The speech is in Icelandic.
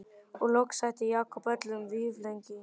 Og loks hætti Jakob öllum vífilengjum.